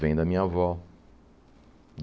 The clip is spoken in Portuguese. Vem da minha avó.